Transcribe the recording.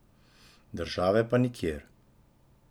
Države pa nikjer.